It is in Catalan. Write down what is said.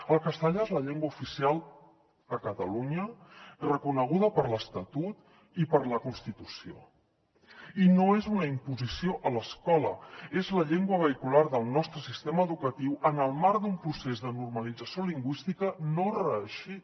el català és la llengua oficial a catalunya reconeguda per l’estatut i per la constitució i no és una imposició a l’escola és la llengua vehicular del nostre sistema educatiu en el marc d’un procés de normalització lingüística no reeixit